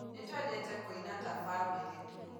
Nĩtũendete kũina ta bamĩrĩ